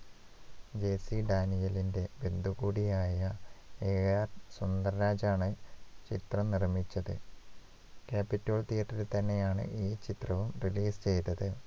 JC ഡാനിയേലിന്റെ ബന്ധു കൂടിയായ AR സുന്ദർരാജ് ആണ് ചിത്രം നിർമിച്ചത് capitol theatre ൽ തന്നെയാണ് ഈ ചിത്രവും release ചെയ്തത്